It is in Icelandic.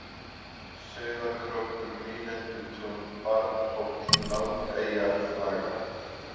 Suðurkrókur, Nýlendutún, Barnhóll, Langeyjarflaga